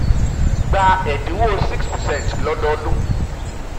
gba ẹ̀dinwó 6 percent lododun